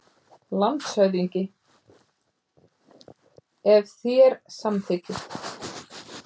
LANDSHÖFÐINGI: Ef þér samþykkið.